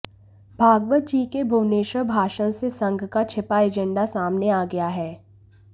भागवत जी के भुवनेश्वर भाषण से संघ का छिपा एजेंडा सामने आ गया है